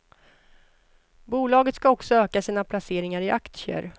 Bolaget ska också öka sina placeringar i aktier.